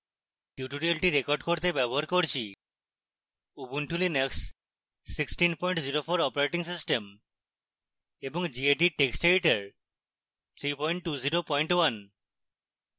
tutorial record করতে ব্যবহার করছি উবুন্টু লিনাক্স 1604 অপারেটিং সিস্টেম এবং gedit টেক্সট এডিটর 3201